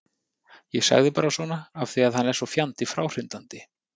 Ég sagði bara svona af því að hann er svo fjandi fráhrindandi.